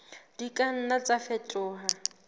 di ka nna tsa fetoha